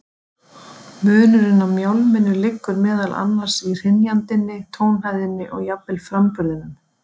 Munurinn á mjálminu liggur meðal annars í hrynjandinni, tónhæðinni og jafnvel framburðinum.